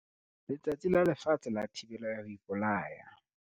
Letsatsi la Lefatshe la Thibelo ya ho Ipolaya.